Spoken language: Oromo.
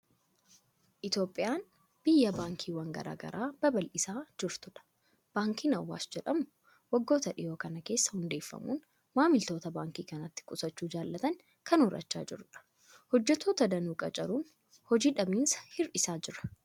Itoophiyaan biyya baankiiwwan garaa garaa babal'isaa jirtudha. Baankiin Awaash jedhamu waggoota dhiyoo kana keessa hundeeffamuun maamiltoota baankii kanatti qusachuu jaalatan kan horachaa jirudha. Hojjettoota danuu qacaruudhaan, hojii dhabamiinsa hir'isaa jira.